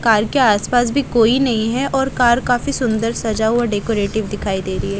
घर के आस पास भी कोई नहीं है और घर काफी सुंदर सजा हुआ डेकोरेटिव दिखाई दे रही है।